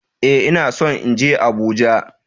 Ee, ina son in je Abuja